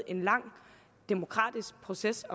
en lang demokratisk proces